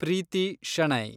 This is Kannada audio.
ಪ್ರೀತಿ ಶೆಣೈ